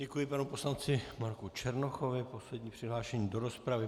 Děkuji panu poslanci Marku Černochovi, poslední přihlášený do rozpravy.